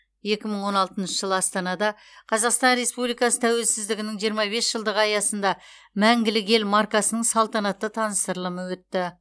екі мың он алтыншы жылы астанада қазақстан республикасы тәуелсіздігінің жиырма бес жылдығы аясында мәңгілік ел маркасының салтанатты таныстырылымы өтті